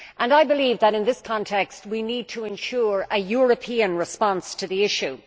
I believe that, in this context, we need to ensure a European response to the issue.